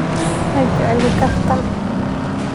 Ma jecli kaftan